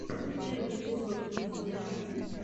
первый эпизод кидс диана